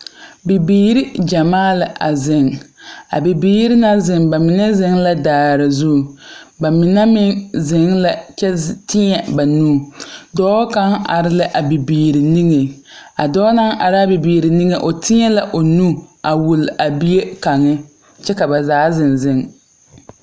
Bibiire gyamaa la a zeŋ. A bibiire na zeŋ ba mene zeŋ la daar zu. Ba mene meŋ zeŋ la kyɛ teɛ ba nuu. Doɔ kang are la a bibiire niŋeŋ. A doɔ na are a bibiir niŋe o teɛ o nuu a wul a bie kang kyɛ ka ba zaa zeŋ zeŋ.